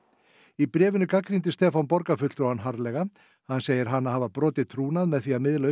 í bréfinu gagnrýndi Stefán borgarfulltrúann harðlega hann segir hana hafa brotið trúnað með því að miðla